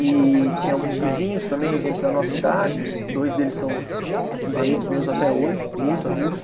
E tinha alguns vizinhos também, gente da nossa idade, dois deles são amigos meus até hoje, muito amigos.